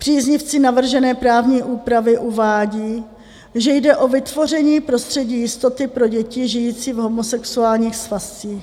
Příznivci navržené právní úpravy uvádí, že jde o vytvoření prostředí jistoty pro děti žijící v homosexuálních svazcích.